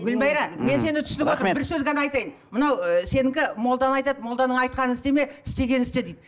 гүлмайра мен сені түсініп отырмын бір сөз ғана айтайын мынау ы сенікі молда айтады молданың айтқанын істеме істегенін істе дейді